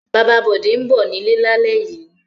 Bàbá Bọ̀dé ń bọ̀ nílé lálẹ́ yìí.